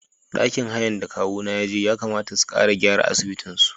Ɗakin hayan da kawuna yaje Yakamata su ƙara gyara asibitin su.